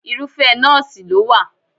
Irúfẹ́ nọ́ọ̀sì ló wà.